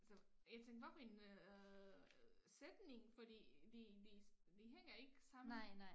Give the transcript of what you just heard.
Så jeg tænkte hvad for en øh sætning fordi de de de hænger ikke sammen